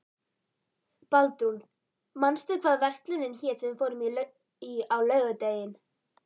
Baldrún, manstu hvað verslunin hét sem við fórum í á laugardaginn?